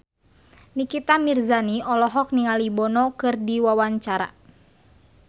Nikita Mirzani olohok ningali Bono keur diwawancara